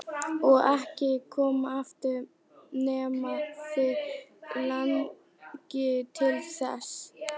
Og ekki koma aftur nema þig langi til þess.